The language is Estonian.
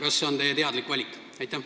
Kas see on teie teadlik valik?